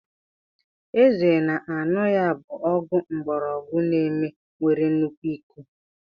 Eze na-a añu ya bu ogu ngborogu Neem nwere nnukwu iko.